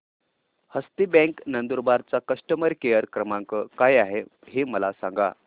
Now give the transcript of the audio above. हस्ती bank Nandurbar चा customer care क्रमांक काय आहे हे मला सांगा